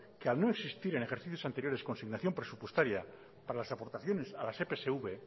que al no existir en ejercicios anteriores consignación presupuestaria para las aportaciones a la epsv